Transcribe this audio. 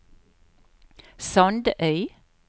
Sandøy